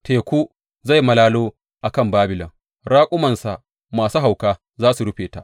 Teku zai malalo a kan Babilon, raƙumansa masu hauka za su rufe ta.